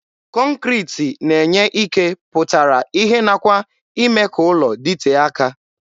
Kọnkriti na-enye ike pụtara ihe nakwa ime ka ụlọ dịtee aka.